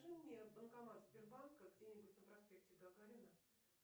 покажи мне банкомат сбербанка где нибудь на проспекте гагарина